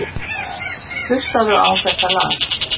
Fólk staglast á því.